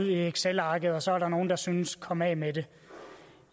excelarket og så er der nogle der synes komme af med det